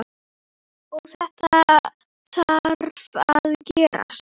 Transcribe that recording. Og þetta þarf að gerast.